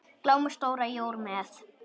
Glámu stóra jór er með.